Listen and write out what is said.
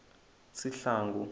sihlangu